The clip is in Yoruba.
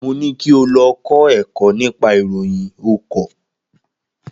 Mo ni kí o lọ kọ́ ẹ̀kọ́ nípa ìròyìn o kọ̀.